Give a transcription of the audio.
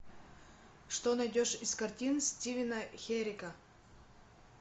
что найдешь из картин стивена херика